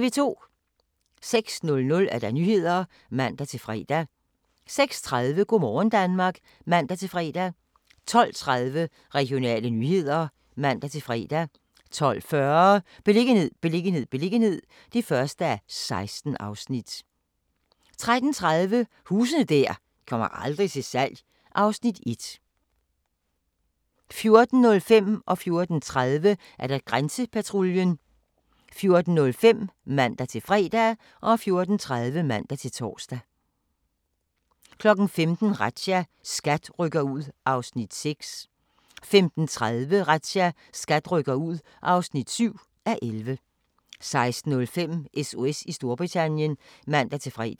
06:00: Nyhederne (man-fre) 06:30: Go' morgen Danmark (man-fre) 12:30: Regionale nyheder (man-fre) 12:40: Beliggenhed, beliggenhed, beliggenhed (1:16) 13:30: Huse der aldrig kommer til salg (Afs. 1) 14:05: Grænsepatruljen (man-fre) 14:30: Grænsepatruljen (man-tor) 15:00: Razzia - SKAT rykker ud (6:11) 15:30: Razzia - SKAT rykker ud (7:11) 16:05: SOS i Storbritannien (man-fre)